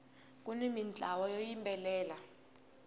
kuni mintlawa yo yimbelela